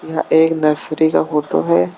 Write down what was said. यह एक नर्सरी का फोटो है।